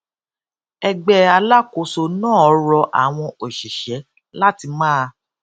ẹgbẹ alákòóso náà rọ àwọn òṣìṣẹ láti máa